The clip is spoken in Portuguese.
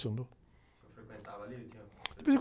senhor frequentava ali, ele tinha...?e vez em